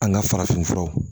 An ka farafin furaw